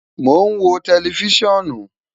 Mo n wo tẹlifisiọnu